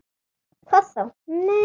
Hvað þá., nei.